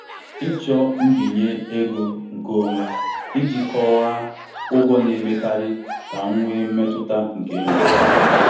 Ọtụtụ ndị mmadụ na-enwe mmetụta onwe ha banyere ịnara mbinye ego, na-echegbu onwe ha maka ịbụ ndị a na-ewere dị ka ndị na-enweghị isi.